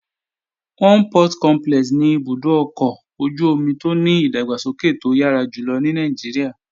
Onne Port Complex ni ibùdó ọkọ̀ ojú-omi tó ní ìdàgbàsókè tó yára jùlọ ní Nàìjíríà.